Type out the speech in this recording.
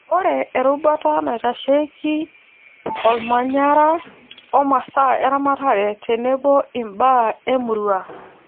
ore erubata naitasheiki olmanyara ,o masaa eramatare tenebo ibaa emurua